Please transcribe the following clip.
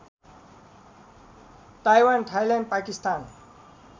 Taiwan Thailand Pakistan